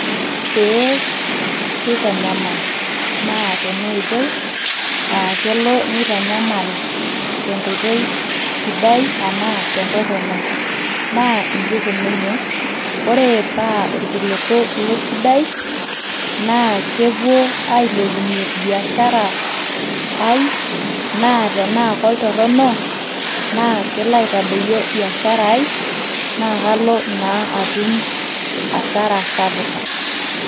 ee keitanyamal naa tena oitoi aa kelo netanyamal te nkoitoi sidai enaa tentorrono naa inji ikununye ore paa irkiliku lesidai naa kepuo ailepunyie biashara ai naa tenaa koltorrono naa kelo aitadoyio biashara ai naa kalo naa atum asara sapuk.